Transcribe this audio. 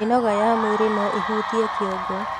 Mĩnoga ya mwĩrĩ noĩhutie kĩongo